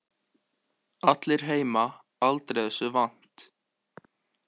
Allir heima aldrei þessu vant.